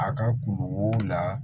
A ka kungo la